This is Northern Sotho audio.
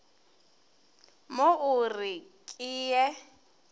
mo o re ke ye